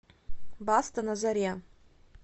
баста на заре